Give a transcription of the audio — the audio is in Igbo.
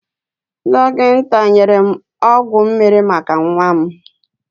Dokinta nyere m ọgwọ mmiri maka nwa m.